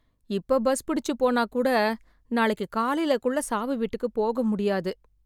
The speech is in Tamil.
இப்ப பஸ் புடிச்சு போனா கூட நாளைக்கு காலைல குள்ள சாவு வீட்டுக்கு போக முடியாது.